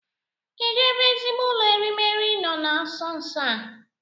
Kedụ ebe ezigbo ụlọ erimeri nọ na nso nso a?